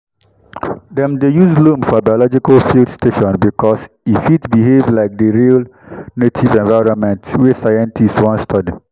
dem dey use loam for biological field station because e fit behave like the real native environment wey scientists wan study.